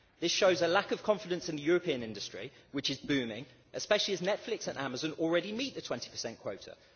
This shows a lack of confidence in the European industry, which is booming, especially as Netflix and Amazon already meet the 20 quota.